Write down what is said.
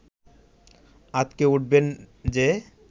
আঁতকে উঠবেন যে